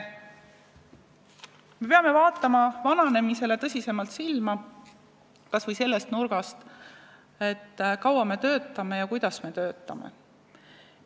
Me peame vaatama vananemisele tõsisemalt silma, kas või sellest küljest, kui kaua me töötame ja kuidas me töötame.